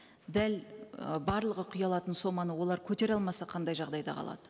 дәл ы барлығы құя алатын соманы олар көтере алмаса қандай жағдайда қалады